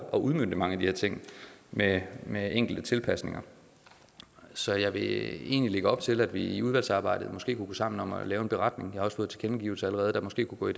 at udmønte mange af det her ting med med enkelte tilpasninger så jeg vil egentlig lægge op til at vi i udvalgsarbejdet måske kunne gå sammen om at lave en beretning jeg har fået tilkendegivelser der måske kunne gå i